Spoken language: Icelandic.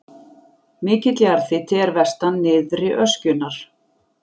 Mikill jarðhiti er vestan nyrðri öskjunnar.